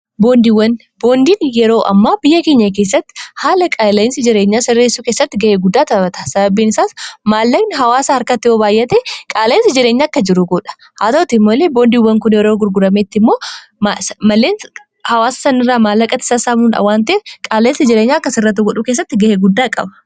boondiin yeroo amma biyya keenya keessatti haala qaaleinsi jireenyaa sirreessuu keessatti ga'ee guddaa tabata sababiin isaas maallaqni hawaasa harkatti obaayyate qaaleensi jireenya akka jiru goudha haa ta'utii mooillee boondiiwwan kun yeroo gurgurameetti immoo maleen hawaasa sanirraa maallaqati isaasaamuu awaantee qaaleensi jireenya akka sirrattuu godhuu keessatti ga'ee guddaa qaba